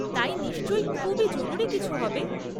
তাই নিশ্চয়ই খুবই জরুরি কিছু হবে?